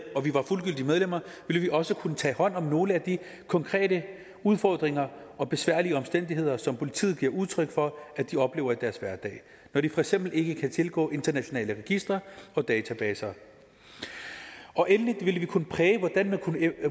og vi var fuldgyldige medlemmer ville vi også kunne tage hånd om nogle af de konkrete udfordringer og besværlige omstændigheder som politiet giver udtryk for at de oplever i deres hverdag når de for eksempel ikke kan tilgå internationale registre og databaser og endelig ville vi kunne præge